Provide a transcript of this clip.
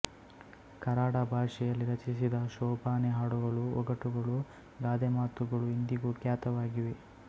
ಕರಾಡ ಭಾಷೆಯಲ್ಲಿ ರಚಿಸಿದ ಶೋಭಾನೆ ಹಾಡುಗಳು ಒಗಟುಗಳು ಗಾದೆಮಾತುಗಳು ಇಂದಿಗೂ ಖ್ಯಾತವಾಗಿವೆ